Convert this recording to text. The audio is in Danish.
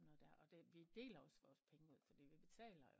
Noget der og vi deler også vores penge ud fordi vi betaler